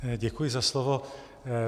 Děkuji za slovo.